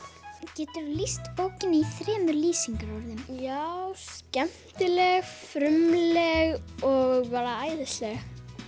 geturðu lýst bókinni í þremur lýsingarorðum já skemmtileg frumleg og bara æðisleg